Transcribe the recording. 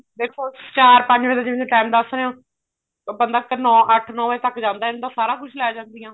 ਦੇਖੋ ਚਾਰ ਪੰਜ ਵਜੇ ਦਾ ਤੁਸੀਂ time ਦੱਸ ਰਹੇ ਹੋ ਬੰਦਾ ਅੱਠ ਨੋ ਵਜੇ ਤੱਕ ਜਾਂਦਾ ਇੰਨੇ ਨੂੰ ਤਾਂ ਸਾਰਾ ਕੁੱਝ ਕੇ ਜਾਂਦੀਆਂ